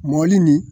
Mɔɔli nin